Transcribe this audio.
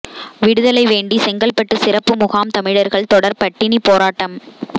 விடுதலை வேண்டி செங்கல்பட்டு சிறப்பு முகாம் தமிழர்கள் தொடர் பட்டினிப் போராட்டம்